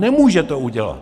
Nemůže to udělat!